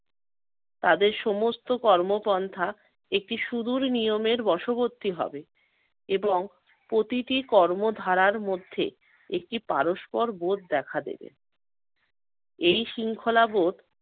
তাদের সমস্ত কর্মপন্থা একটি সুদুর নিয়মের বশবর্তী হবে এবং প্রতিটি কর্মধারার মধ্যে একটি পারস্পর বোধ দেখা দেবে। এই শৃঙ্খলাবোধ